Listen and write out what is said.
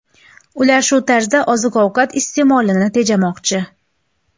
Ular shu tarzda oziq-ovqat iste’molini tejamoqchi.